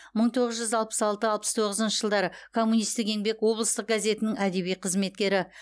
мың тоғыз жүз алпыс алты алпыс тоғызыншы жылдары коммунистік еңбек облыстық газетінің әдеби қызметкері